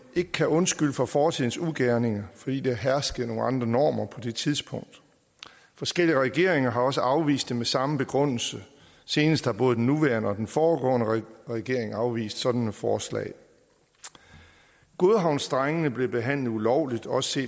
ikke kan undskylde for fortidens ugerninger fordi der herskede nogle andre normer på det tidspunkt forskellige regeringer har også afvist det med samme begrundelse senest har både den nuværende og den foregående regering afvist sådan et forslag godhavnsdrengene blev behandlet ulovligt også